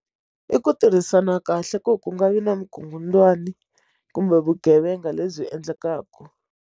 I ku tirhisana kahle ku ku nga vi na vukungundzwani kumbe vugevenga lebyi endlekaka.